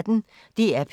DR P1